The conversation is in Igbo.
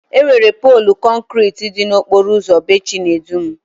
Enwere poolu kọnkriti dị n'okporo ụzọ bee Chidubem?